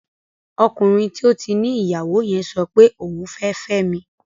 Ọkùnrin tí ó ti ní ìyàwó yẹn sọpe òun fẹ́ fẹ́mi